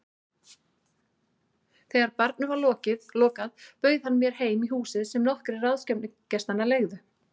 Þegar barnum var lokað bauð hann mér heim í húsið sem nokkrir ráðstefnugestanna leigðu.